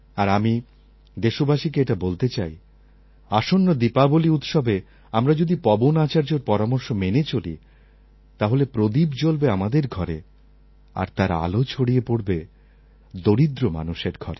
আর আমি দেশবাসীকে এটা বলতে চাই আসন্ন দীপাবলী উৎসবে আমরা যদি পবন আচার্যর পরামর্শ মেনে চলি তাহলে প্রদীপ জ্বলবে আমাদের ঘরে আর তার আলো ছড়িয়ে পড়বে দরিদ্র মানুষের ঘরে